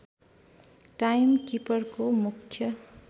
time किपरको मुख्य